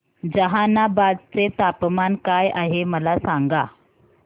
जहानाबाद चे तापमान काय आहे मला सांगा